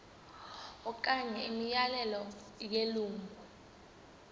okanye imiyalelo yelungu